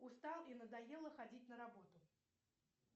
устал и надоело ходить на работу